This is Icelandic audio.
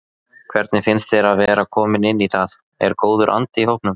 Hvernig finnst þér að vera kominn inn í það, er góður andi í hópnum?